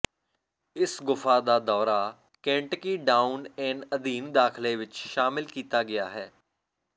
ਇਸ ਗੁਫਾ ਦਾ ਦੌਰਾ ਕੇਂਟਕੀ ਡਾਊਨ ਏਨ ਅਧੀਨ ਦਾਖਲੇ ਵਿਚ ਸ਼ਾਮਲ ਕੀਤਾ ਗਿਆ ਹੈ